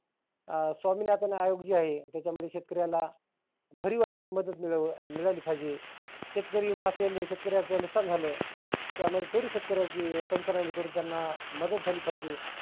अं स्वामिनाथन आयोग जे आहे त्याच्यामध्ये शेतकर्याला भरिव आशी मदत मिळाली पाहिजे. शेतकरी असेल शेतकरी नुक्सान झालं. त्यामध्ये थोडी शेतकर्याची पंचनामे करुण त्यांना मदत झाली पाहिजे.